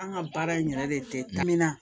An ka baara in yɛrɛ de kamin